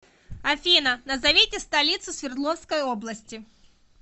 афина назовите столицу свердловской области